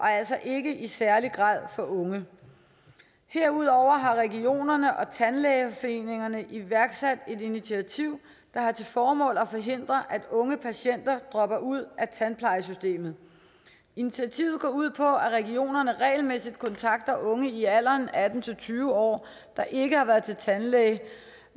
altså ikke i særlig grad for unge herudover har regionerne og tandlægeforeningen iværksat et initiativ der har til formål at forhindre at unge patienter dropper ud af tandplejesystemet initiativet går ud på at regionerne regelmæssigt kontakter unge i alderen atten til tyve år der ikke har været til tandlæge